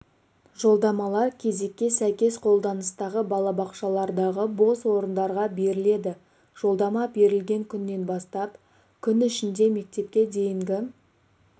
жолдамалар кезекке сәйкес қолданыстағы балабақшалардағы бос орындарға беріледі жолдама берілген күннен бастап күн ішінде мектепке дейінгі